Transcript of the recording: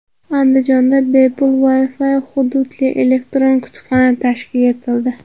Andijonda bepul Wi-fi hududli elektron kutubxona tashkil etildi.